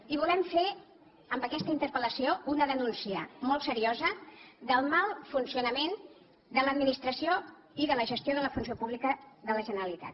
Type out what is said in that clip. i volem fer amb aquesta interpel·lació una denúncia molt seriosa del mal funcionament de l’administració i de la gestió de la funció pública de la generalitat